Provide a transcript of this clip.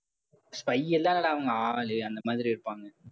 spy எல்லாம் இல்லைடா அவங்க ஆளு அந்த மாதிரி இருப்பாங்க.